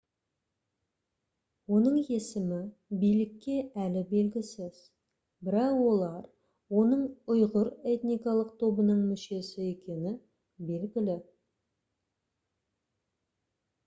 оның есімі билікке әлі белгісіз бірақ олар оның ұйғыр этникалық тобының мүшесі екені белгілі